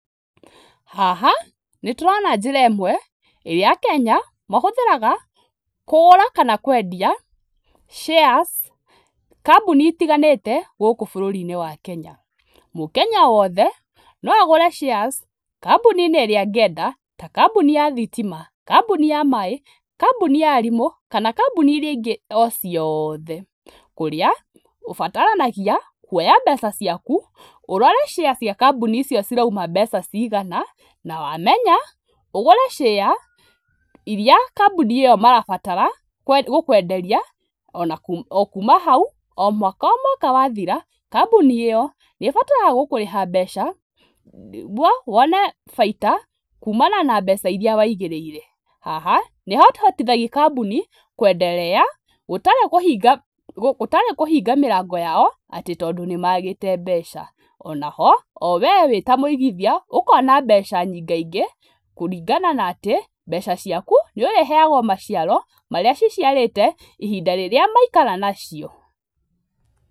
Haha nĩ nĩtũrona njĩra ĩmwe ĩrĩa akenya mahũthĩraga kũgũra kana kwendia shares kambuni itiganĩte gũkũ bũrũri-inĩ wa Kenya, mũkenya o wothe, no agũre shares kambuni-inĩ ĩrĩa angĩenda ta kambuni ya thitima, kambuni ya maĩ, kambuni ya arimũ kana kambuni iria ingĩ o ciothe kũrĩa ũbataranagia kuoya mbeca ciaku, ũrore shares cia kambuni icio cirauma mbeca cigana, na wamenya ũgũre share iria kambuni ĩyo marabatara gũkũenderia ona kuuma hau, o mwaka o mwaka wathira, kambuni ĩyo nĩ ĩbataraga gũkũrĩha mbeca, wone bainda kuumana na mbeca iria waigĩrĩire, haha nĩ hahotithagia kambuni kwenderea, gũtarĩ kũhinga gũtarĩ kũhinga mĩrango yao atĩ tondũ nĩ magĩte mbeca, ona ho o we wĩtamũigithia ũkona mbeca nyingaingĩ kũringana na atĩ, mbeca ciaku nĩ ũrĩheagwo maciaro marĩa ciciarĩte, ihinda rĩrĩa maikara nacio.